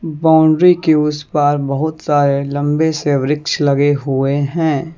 Boundary के उस पार बहुत सारे लंबे से वृक्ष लगे हुए हैं।